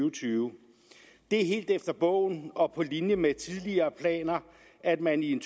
og tyve det er helt efter bogen og på linje med tidligere planer at man i en